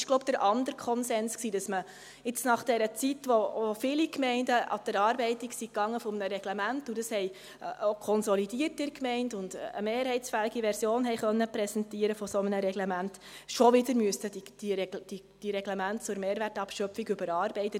Dies ist der andere Konsens, dass man nach dieser Zeit, in welcher sich viele Gemeinden an die Erarbeitung eines Reglements machten und eine konsolidierte und mehrheitsfähige Version eines solchen Reglements präsentieren konnten, die Reglemente zu dieser Mehrwertabschöpfung überarbeiten müssten.